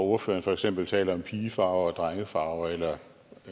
ordføreren for eksempel taler om pigefarver og drengefarver eller